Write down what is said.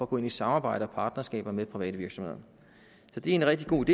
gå ind i samarbejder og partnerskaber med private virksomheder så det er en rigtig god